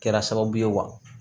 Kɛra sababu ye wa